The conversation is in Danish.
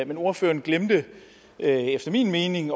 men ordføreren glemte efter min mening